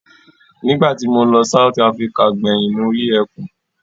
Nígbà tí mo lọ South Africa gbẹ̀yìn mo rí ẹkùn.